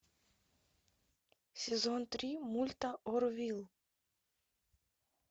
сезон три мульта орвилл